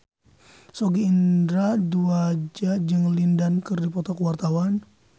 Sogi Indra Duaja jeung Lin Dan keur dipoto ku wartawan